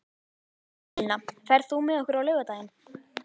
Elína, ferð þú með okkur á laugardaginn?